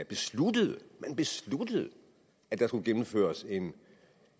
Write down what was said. besluttede at der skulle gennemføres en